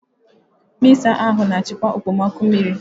Mịzá ahụ na-achịkwa okpomọkụ mmiri.